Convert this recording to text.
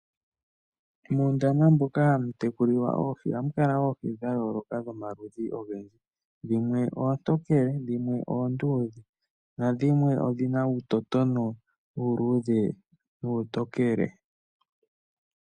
Muundama moka hamu tekulilwa oohi ohamu kala oohi dha yooloka dhlmaludhi ogendji, dhimwe oontokele, dhimwe oonduudhe nadhimwe odhina uuyala uuludhe nuutokele.